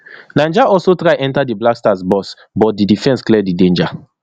niger also try enta di blackstars box but di defense clear di danger